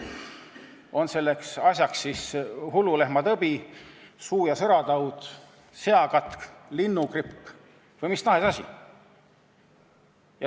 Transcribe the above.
On selleks mureks siis hullulehmatõbi, suu- ja sõrataud, seakatk, linnugripp või mis tahes asi.